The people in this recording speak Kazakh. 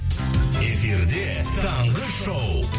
эфирде таңғы шоу